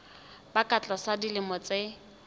ba ka tlasa dilemo tse